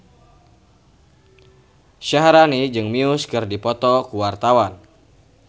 Syaharani jeung Muse keur dipoto ku wartawan